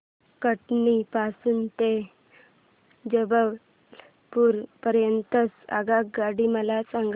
कटनी पासून ते जबलपूर पर्यंत च्या आगगाड्या मला सांगा